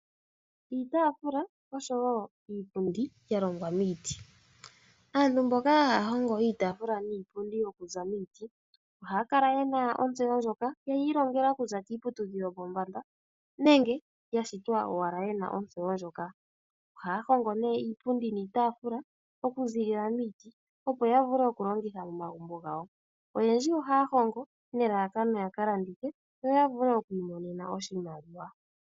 Iitafula oshowo iipundi yalongwa miiti. Aantu mboka ha ya hongo iitafula niipundi ya longwa miiti ohaya kala ye na ontseyo ndjoka yeyi ilongela okuza kiiputudhilo yo pombanda nenge yashitwa ye na ontseyo ndjoka. Ohaya hongo iipundi niitafula ya miiti opo yavule okulongitha momagumbo gawo. Oyendji oha ya hongo ne lalakano lyoku ka landitha opo yavule oku imonenano oshimaliwa